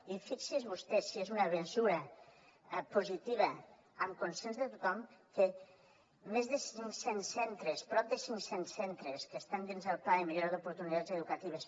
i fixi’s vostè si és una mesura positiva amb consens de tothom que més de cinc cents centres prop de cinc cents centres que estan dins del pla de millora d’oportunitats educatives